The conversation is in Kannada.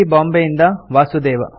ಬಾಂಬೆಯಿಂದ ವಾಸುದೇವ